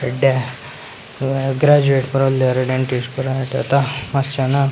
ಎಡ್ಡೆ ಗ್ರಾಜುವೇಟ್‌ ಪೂರ ಉಳ್ಳೇರ್‌ ಡೆಂಟಿಸ್ಟ್‌ ಪೂರ ಎಡ್ಡೆತ್ತ .